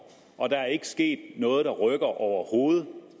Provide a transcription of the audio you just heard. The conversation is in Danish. og der er ikke sket noget der rykker overhovedet